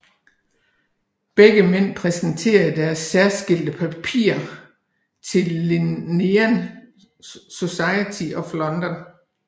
Begge mænd præsenterede deres særskilte papirer til Linnean Society of London